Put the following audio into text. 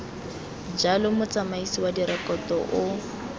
jalo motsamaisi wa direkoto o